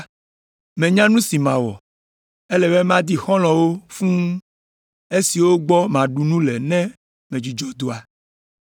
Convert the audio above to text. Menya nu si mawɔ! Ele be madi xɔlɔ̃wo fũu, esiwo gbɔ maɖu nu le ne medzudzɔ dɔa.’